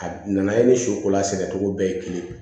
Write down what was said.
A nana i ni su kola a sɛnɛ cogo bɛɛ ye kelen